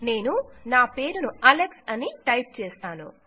నేను నా పేరును అలెక్స్ అని టైప్ చేస్తాను